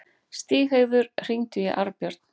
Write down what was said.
Stígheiður, hringdu í Arnbjörn.